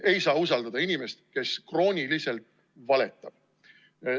Ei saa usaldada inimest, kes krooniliselt valetab.